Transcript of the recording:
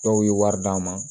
Dɔw ye wari d'a ma